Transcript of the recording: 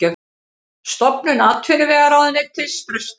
Stofnun atvinnuvegaráðuneytis frestað